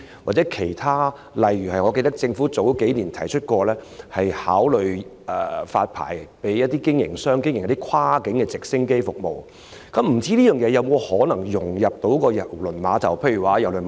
我記得政府數年前曾經表示會考慮發牌予一些提供跨境直升機服務的營辦商，不知道這項服務能否與郵輪碼頭的配套融合？